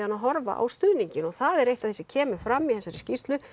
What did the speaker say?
að horfa á stuðninginn og það er eitt af því sem kemur fram í þessari skýrslu